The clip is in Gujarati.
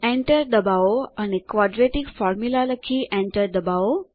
Enter દબાવો અને ક્વાડ્રેટિક Formula લખી Enter દબાવો